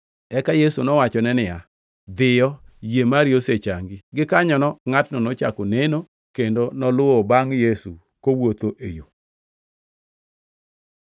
Eka Yesu nowachone niya, “Dhiyo, yie mari osechangi. Gikanyono ngʼatno nochako neno, kendo noluwo bangʼ Yesu kowuotho e yo.”